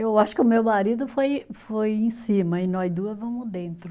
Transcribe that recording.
Eu acho que o meu marido foi foi, em cima e nós duas vamos dentro.